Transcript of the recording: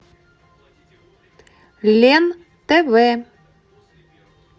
лен тв